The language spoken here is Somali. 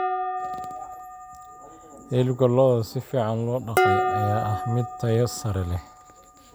Hilibka lo'da si fiican loo dhaqay ayaa ah mid tayo sare leh.